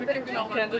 Tamamilə.